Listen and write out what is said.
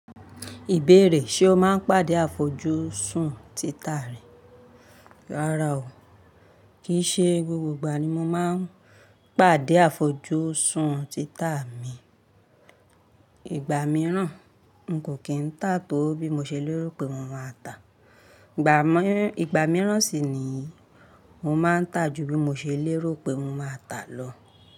Ìbéèrè, ṣe o máa ń pàdé àfojúsùn títa rẹ? Rárá o, kì í ṣe gbogbo ìgbà ni mo máa ń pàdé àfojúsùn títa mi. Ìgbà mìíràn, n kò kí ń tà tó bí mo ṣe lérò pé mo máa tà. Ìgbà mìíràn sì niyii, mo máa ń tà ju bí mo ṣe lérò pé mo máa tà lọ.